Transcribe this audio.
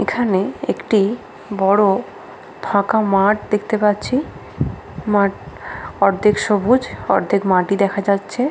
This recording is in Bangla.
এখানে একটি বড় ফাঁকা মাঠ দেখতে পাচ্ছি। মাঠ অর্ধেক সবুজ অর্ধেক মাটি দেখা যাচ্ছে |